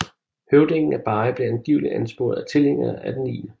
Høvdingen af Beri blev angiveligt ansporet af tilhængere af den 9